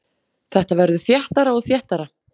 Þetta verður þéttara og þéttara.